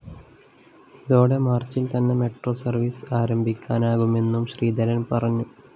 ഇതോടെ മാര്‍ച്ചില്‍ തന്നെ മെട്രോ സര്‍വീസ് ആരംഭിക്കാനാകുമെന്നും ശ്രീധരന്‍ പറഞ്ഞു